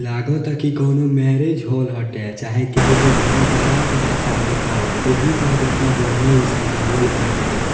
लगाता की कोनो मैरेज हॉल हटे चाहे केहू के घरे बारात उरात आबातावे ओही जगह इतना बढ़िया इ सजावल बाटे।